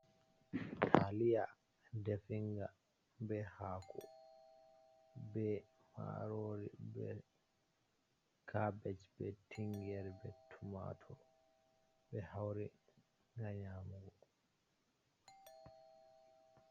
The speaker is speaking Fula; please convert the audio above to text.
Taliya definga be hako, be marori, be cabej, be tingere, be tomato, ɓe hauri ngam nyamugo.